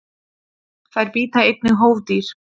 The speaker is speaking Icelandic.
Þær bíta einnig hófdýr.